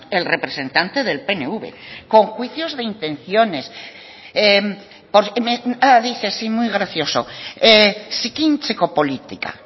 el representante del pnv con juicios de intenciones me dice sí muy gracioso zikintzeko politika